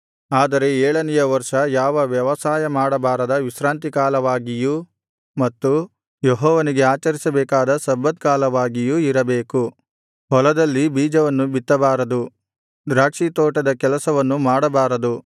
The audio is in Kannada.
ಆದರೆ ಏಳನೆಯ ವರ್ಷ ಯಾವ ವ್ಯವಸಾಯ ಮಾಡಬಾರದ ವಿಶ್ರಾಂತಿ ಕಾಲವಾಗಿಯೂ ಮತ್ತು ಯೆಹೋವನಿಗೆ ಆಚರಿಸಬೇಕಾದ ಸಬ್ಬತ್ ಕಾಲವಾಗಿಯೂ ಇರಬೇಕು ಹೊಲದಲ್ಲಿ ಬೀಜವನ್ನು ಬಿತ್ತಬಾರದು ದ್ರಾಕ್ಷಿತೋಟದ ಕೆಲಸವನ್ನು ಮಾಡಬಾರದು